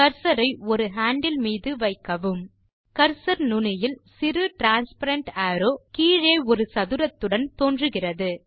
cursor ஐ ஒரு handle மீது வைக்கவும் கர்சர் நுனியில் சிறு டிரான்ஸ்பேரன்ட் அரோவ் கீழே ஒரு சதுரத்துடன் தோன்றுகிறது